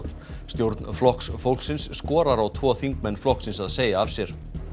stjórn Flokks fólksins skorar á tvo þingmenn flokksins að segja af sér